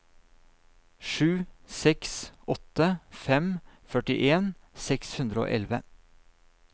sju seks åtte fem førtien seks hundre og elleve